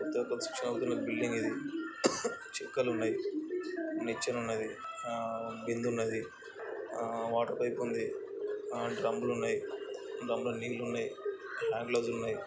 కొత్తగా కాస్ట్రావుతున్న బిల్డింగ్ ఇది చుక్కలున్నాయ్నిచ్చెన ఉన్నదిఆహ్ బిందె ఉన్నది ఆహ్ వాటర్ పైప్ ఉంది ఆ డృమ్బులు ఉన్నయ్ డ్రుమ్బలో నీళ్ళున్నాయ్ అవి--